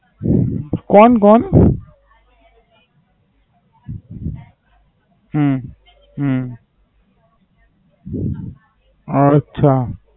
કોણ કોણ? હમ હમ અચ્છા.